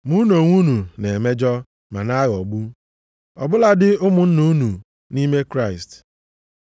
Ma unu onwe unu na-emejọ, ma na-aghọgbu, ọ bụladị ụmụnna unu nʼime Kraịst.